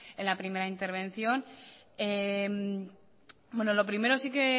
en la primera intervención lo primero sí que